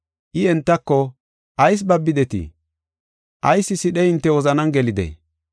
I entako, “Ayis babidetii? Ayis sidhey hinte wozanan gelidee?